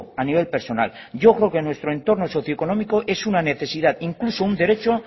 a nivel personal yo creo que en nuestro entorno socioeconómico es una necesidad incluso un derecho